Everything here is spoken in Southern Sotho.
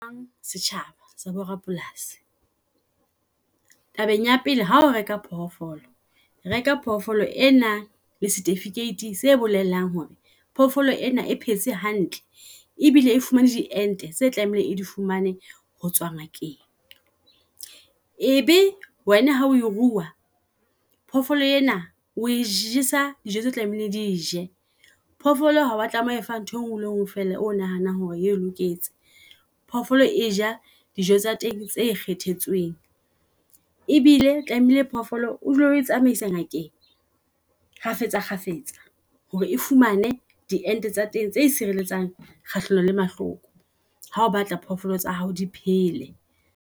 Setjhaba sa bo rapolasi. Tabeng ya pele hao reka phoofolo reka phofolo e nang le setifikeiti se bolelang hore phoofolo ena e phetse hantle ebile e fumane di ente tse tlamehileng e di fumane hotswa ngakeng. Ebe wena ha o e rua phoofolo ena oe jesa dijo tse tlamehile di je, phoofolo ha wa tlameha ho fa ntho engwe e le engwe fela o nahanang hore e loketse. Phofolo e ja dijo tsa teng tse e kgethetsweng ebile tlamehile phoofolo o dule o etsamaisa ngakeng kgafetsa kgafetsa. Hore e fumane di ente tsa teng tse sireletsang kgahlano le mahloko. Ha o batla phofolo tsa hao di phele.